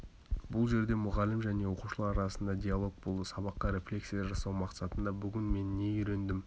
бұл жерде мұғалім және оқушылар арасындағы диалог болды сабаққа рефлексия жасау мақсатында бүгін мен не үйрендім